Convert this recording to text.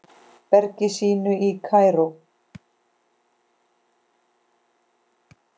bergi sínu í Kaíró.